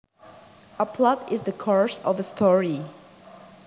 A plot is the course of a story